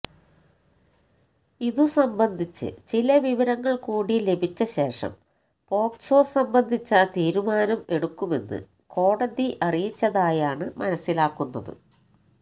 ഇതുസംബന്ധിച്ച് ചില വിവരങ്ങൾ കൂടി ലഭിച്ച ശേഷം പോക്സോ സംബന്ധിച്ച തീരുമാനം എടുക്കുമെന്ന് കോടതി അറിയിച്ചതായാണ് മനസ്സിലാക്കുന്നത്